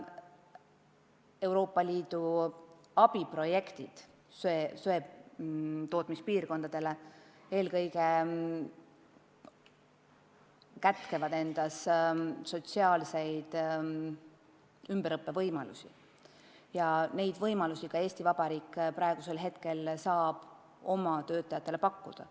Euroopa Liidu abiprojektid, mis on mõeldud eelkõige söetootmispiirkondadele, kätkevad sotsiaalseid ümberõppe võimalusi ja neid võimalusi saab ka Eesti Vabariik praegu nendele töötajatele pakkuda.